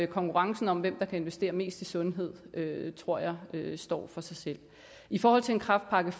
konkurrencen om hvem der kan investere mest i sundhed tror jeg står for sig selv i forhold til en kræftpakke